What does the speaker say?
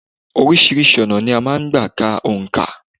Oríṣiríṣi ọ̀nà ni a máa ń gbà ká òǹkà.